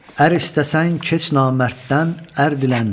Ər istəsən keç namərddən ər dilən.